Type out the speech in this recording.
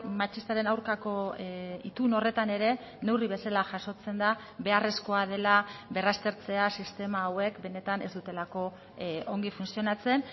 matxistaren aurkako itun horretan ere neurri bezala jasotzen da beharrezkoa dela berraztertzea sistema hauek benetan ez dutelako ongi funtzionatzen